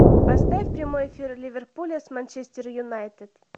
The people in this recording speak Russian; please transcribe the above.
поставь прямой эфир ливерпуля с манчестер юнайтед